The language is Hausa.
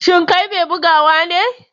Shin kai mai bugawa ne?